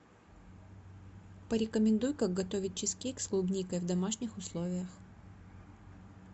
порекомендуй как готовить чизкейк с клубникой в домашних условиях